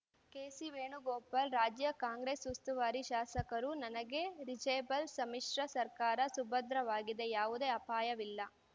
ಕೆಸಿವೇಣುಗೋಪಾಲ್‌ ರಾಜ್ಯ ಕಾಂಗ್ರೆಸ್‌ ಉಸ್ತುವಾರಿ ಶಾಸಕರು ನನಗೆ ರೀಚೆಬಲ್‌ ಸಮ್ಮಿಶ್ರ ಸರ್ಕಾರ ಸುಭದ್ರವಾಗಿದೆ ಯಾವುದೇ ಅಪಾಯವಿಲ್ಲ